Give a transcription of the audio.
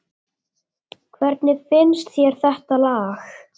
Hvernig finnst þér þetta lag?